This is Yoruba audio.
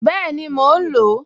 Bẹ́ẹ̀ni, mò ń lò ó